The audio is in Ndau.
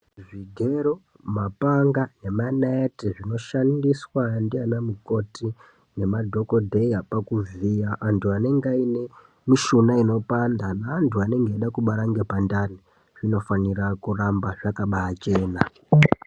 Zvigera, mapanga nemanaite zvinoshandiswa ndiana mukoti nemadhokodheya pakuvhiya antu anenge aine mishuna inopanda neantu anenge eida kubata ngepandani zvinofanira kuramba zvakabachena.